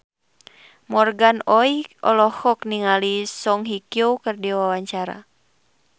Morgan Oey olohok ningali Song Hye Kyo keur diwawancara